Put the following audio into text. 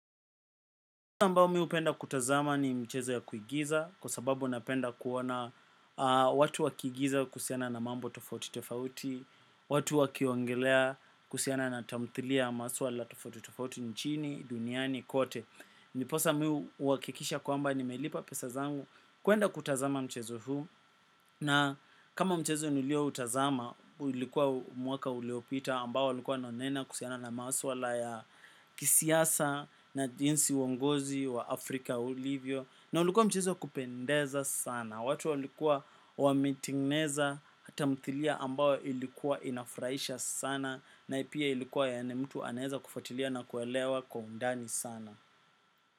Niposa mbao mimi hupenda kutazama ni mchezo ya kuigiza kwa sababu napenda kuona watu wakiigiza kusiana na mambo tofauti tofauti, watu wakiongelea kusiana na tamthilia maswala tofauti tofauti nchini, duniani, kote. Ndiposa miu uhakikisha kwamba nimelipa pesa zangu kuenda kutazama mchezo huu. Na kama mchezo nilioutazama, ulikuwa mwaka uliopita ambao ulikuwa nonena kusiana na mawasuala ya kisiasa na jinsi uongozi wa Afrika ulivyo. Na ulikuwa mchezo kupendeza sana. Watu walikuwa wamitigneza hata mthilia ambao ilikuwa inafraisha sana na ipia ilikuwa yani mtu aneza kufatilia na kuelewa kwa undani sana.